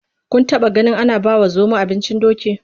Kun taɓaganin ana bawa zomo abincin doki?